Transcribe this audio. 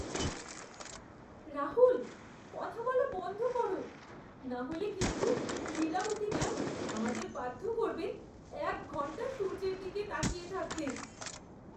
রাহুল! কথা বলা বন্ধ করো, নাহলে কিন্তু লীলাবতী ম্যাম আমাদের বাধ্য করবেন এক ঘন্টা সূর্যের দিকে তাকিয়ে থাকতে।